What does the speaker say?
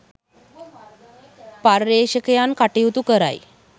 පර්යේෂකයන් කටයුතු කරයි